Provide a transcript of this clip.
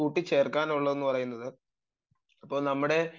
കൂട്ടിച്ചേർക്കാൻ ഉള്ളത് എന്ന് പറയുന്നത് ഇപ്പോൾ നമ്മുടെ